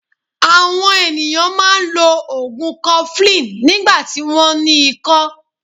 Àwon ènìyàn máa n lo ògùn 'cofflin nígbàtí wón ní ikó